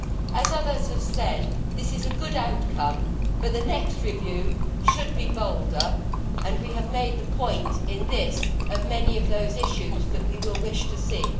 As others have said, this is a good outcome, but the next review should be bolder, and we have made the point here of many of the issues that we will wish to see.